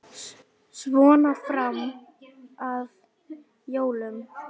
Svona fram að jólum.